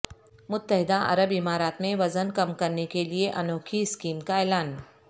متحدہ عرب امارات میں وزن کم کرنے کیلئے انوکھی اسکیم کا اعلان